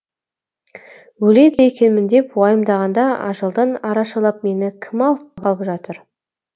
өледі екенмін деп уайымдағанда ажалдан арашалап мені кім алып қалып жатыр